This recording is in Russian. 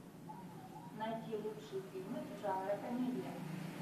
найди лучшие фильмы жанра комедия